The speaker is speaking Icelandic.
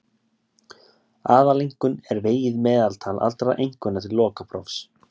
Aðaleinkunn er vegið meðaltal allra einkunna til lokaprófs.